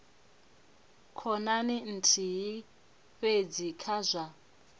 khonani nthihi fhedzi kha zwa